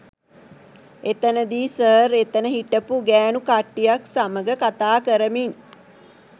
එතැනදී sir එතැන හිටපු ගෑනු කට්‌ටියක්‌ සමග කතාකරමින්